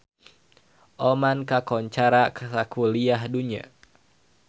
Oman kakoncara sakuliah dunya